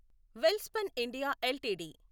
Welspun India LTD